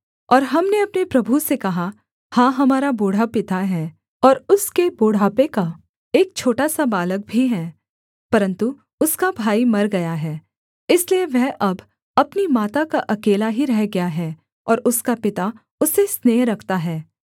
और हमने अपने प्रभु से कहा हाँ हमारा बूढ़ा पिता है और उसके बुढ़ापे का एक छोटा सा बालक भी है परन्तु उसका भाई मर गया है इसलिए वह अब अपनी माता का अकेला ही रह गया है और उसका पिता उससे स्नेह रखता है